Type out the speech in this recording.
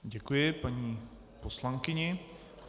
Děkuji paní poslankyni.